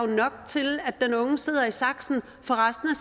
nok til at den unge sidder i saksen for resten